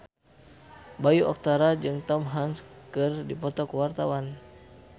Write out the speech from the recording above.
Bayu Octara jeung Tom Hanks keur dipoto ku wartawan